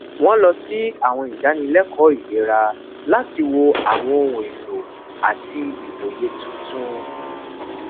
wọn lọ sí àwọn ìdánilẹkọọ ilera láti wo àwọn ọhun elo ati iwoye tuntun